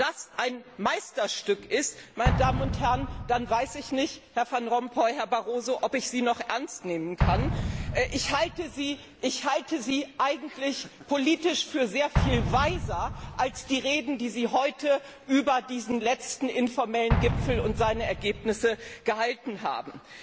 Wenn das ein Meisterstück ist, meine Damen und Herrn, dann weiß ich nicht, Herr Van Rompuy, Herr Barroso, ob ich Sie noch ernst nehmen kann. Ich halte Sie eigentlich politisch für sehr viel weiser als die Reden, die Sie heute über diesen letzten informellen Gipfel und seine Ergebnisse gehalten haben.